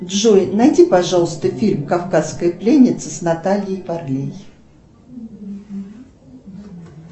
джой найди пожалуйста фильм кавказская пленница с натальей варлей